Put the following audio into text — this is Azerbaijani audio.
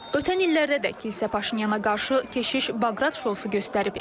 Ötən illərdə də kilsə Paşinyana qarşı keşiş Baqrat şousu göstərib.